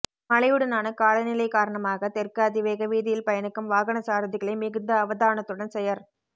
மழையுடனான காலநிலை காரணமாக தெற்கு அதிவேக வீதியில் பயணிக்கும் வாகன சாரதிகளை மிகுந்த அவதானத்துடன் செயற்